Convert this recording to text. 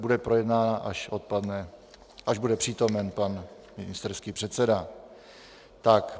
Bude projednána, až bude přítomen pan ministerský předseda.